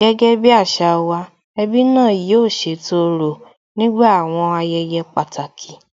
Gẹ́gẹ́ bí àṣà wa, ẹbí náà yóò ṣètò òrò nígbà àwọn ayẹyẹ pàtàkì